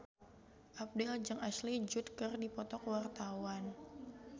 Abdel jeung Ashley Judd keur dipoto ku wartawan